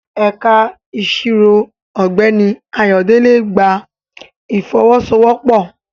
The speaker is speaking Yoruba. Ẹ̀ka Ìṣirò Ọ̀gbẹ́ni Ayodele gba ìfọwọ́sowọ́pọ̀